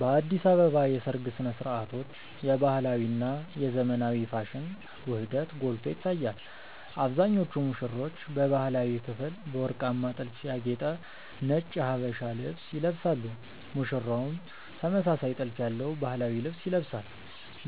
በአዲስ አበባ የሰርግ ሥነ ሥርዓቶች የባህላዊ እና የዘመናዊ ፋሽን ውህደት ጎልቶ ይታያል። አብዛኞቹ ሙሽሮች በባህላዊው ክፍል በወርቃማ ጥልፍ ያጌጠ ነጭ የሀበሻ ልብስ ይለብሳሉ ሙሽራውም ተመሳሳይ ጥልፍ ያለው ባህላዊ ልብስ ይለብሳል።